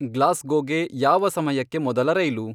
ಗ್ಲಾಸ್ಗೋಗೆ ಯಾವ ಸಮಯಕ್ಕೆ ಮೊದಲ ರೈಲು